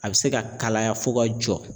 A be se ka kalaya fo ka jɔ